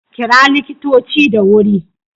Kira likitoci da wuri